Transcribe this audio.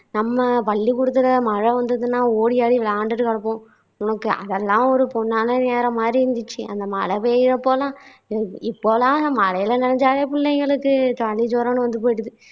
நம்ம பள்ளிகூடத்துல மழை வந்தா ஓடியாடி விளையாண்டுகிட்டு கிடப்போம் நமக்கு அதெல்லாம் ஒரு பொன்னானநேரம் மாதிரி இருந்துச்சு அந்த மழை பெய்யுறப்போ எல்லாம் இப்போ எல்லாம் அந்த மழையில நனைஞ்சாவே புள்ளைங்களுக்கு சளி ஜுரம்னு வந்துபோய்டுது